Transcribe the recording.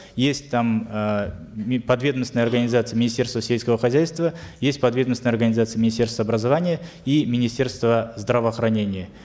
есть там э подведомственная организация министерства сельского хозяйства есть подведомственная организация министерства образования и министерства здравоохранения